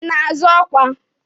Ị na-azọ ọkwa?